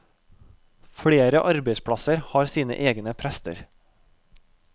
Flere arbeidsplasser har sine egne prester.